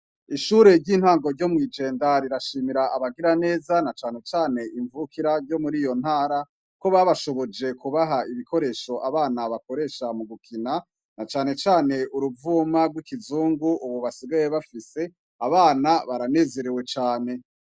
Ishure ry'intango ryo mw'ijenda rirashimira abagira neza na canecane imvukira ryo muri yo ntara ko babashoboje kubaha ibikoresho abana bakoresha mu gukina na canecane uruvuma rw'ikizungu, ubu basigaye bafise abana baranezerewe cane.